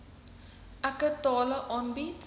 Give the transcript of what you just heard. eke tale aanbied